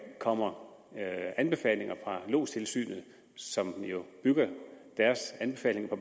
kommer anbefalinger fra lodstilsynet som jo bygger deres anbefalinger på